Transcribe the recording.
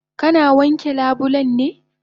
Kana wanke labulen ne?